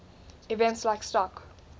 events like stock